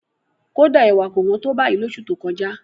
Kódà, ẹ̀wà kò hán tó báyìí lóṣù tó kọjá.